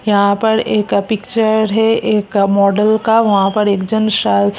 यहां पर एक अ पिक्चर है एक मॉडल का वहां पर एक जन शा --